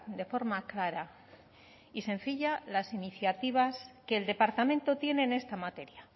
de forma clara y sencilla las iniciativas que el departamento tiene en esta materia